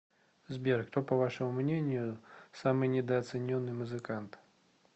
сбер кто по вашему мнению самый недооцененный музыкант